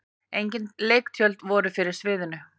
Engin leiktjöld voru fyrir sviðinu.